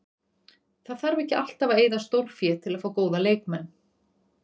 Það þarf ekki alltaf að eyða stórfé til að fá góða leikmenn.